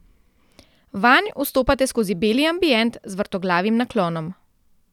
Vanj vstopate skozi beli ambient z vrtoglavim naklonom.